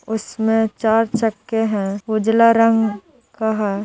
उसमे चार चक्के हैं उजला रंग का ह ।